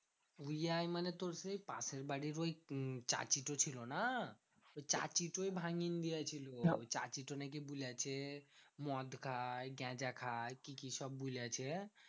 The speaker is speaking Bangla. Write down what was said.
তুই এই মানে তোর সেই পাশের বাড়ির ওই চাচীটা ছিল না? ওই চাচিতোই ভাঙিন দিয়েছিল। চাচীটো নাকি বলেছে মদ খায় গাঁজা খায় কি কি সব বুলছে?